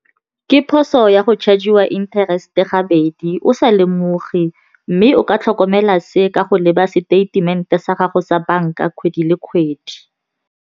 Ke phoso ya go charge-iwa interest-e gabedi o sa lemoge, mme o ka tlhokomela se ka go leba stament-e sa gago sa banka kgwedi le kgwedi.